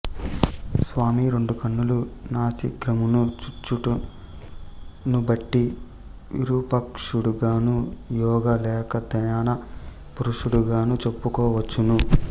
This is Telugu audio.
స్వామి రెండు కన్నులు నాసికాగ్రమును చూచుటనుబట్టి విరూపాక్షుడగను యోగ లేక ధ్యాన పురుషుడగను చెప్పుకొనవచ్చును